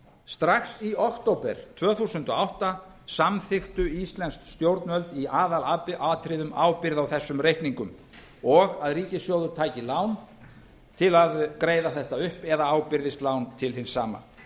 strax í október tvö þúsund og átta samþykktu íslensk stjórnvöld í aðalatriðum ábyrgð á þessum reikningum og að ríkissjóður tæki lán til að greiða þetta upp eða ábyrgðist lán til hins sama